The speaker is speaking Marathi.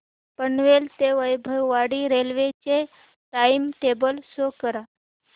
पनवेल ते वैभववाडी रेल्वे चे टाइम टेबल शो करा